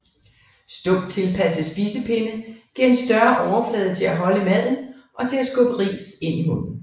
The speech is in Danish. Stump tilpasset spisepinde giver en større overflade til at holde maden og til at skubbe ris ind i munden